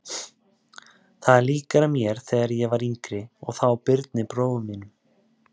Þetta er líkara mér þegar ég var yngri eða þá Birni bróður þínum.